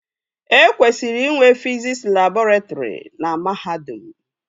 E kwesịrị inwe fiziks labọretrị na mahadum